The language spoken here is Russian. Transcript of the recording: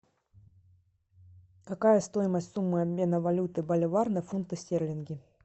какая стоимость суммы обмена валюты боливар на фунты стерлинги